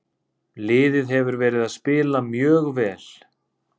Liðið hefur verið að spila mjög vel.